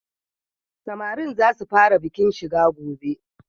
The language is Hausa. Samarin za su fara bikin shiga gobe.